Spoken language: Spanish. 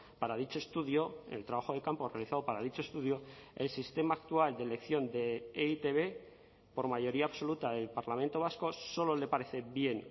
para dicho estudio el trabajo de campo realizado para dicho estudio el sistema actual de elección de e i te be por mayoría absoluta del parlamento vasco solo le parece bien